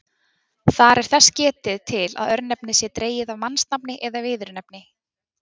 Þar er þess getið til að örnefnið sé dregið af mannsnafni eða viðurnefni.